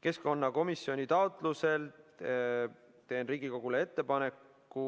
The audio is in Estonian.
Keskkonnakomisjoni taotlusel teen Riigikogule ettepaneku,